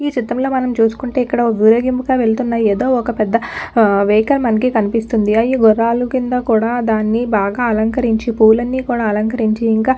ఈ చిత్రంలో మనం చూసుకుంటే ఇక్కడ ఒక్క ఊరేగింపుగా వెళ్తున్న ఏదో ఒక్క పెద్ద వెహికల్ మనకి కనిపిస్తుంది అయ్యి గుర్రాలకింద కూడా దాన్ని బాగా అలంకరించి పూలన్నీ కూడా అలంకరించి ఇంకా --